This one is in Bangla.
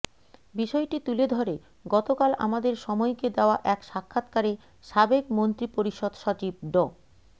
বিষয়টি তুলে ধরে গতকাল আমাদের সময়কে দেওয়া এক সাক্ষাৎকারে সাবেক মন্ত্রিপরিষদ সচিব ড